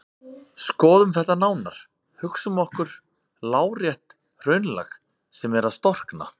Skoðum þetta nánar: Hugsum okkur lárétt hraunlag sem er að storkna.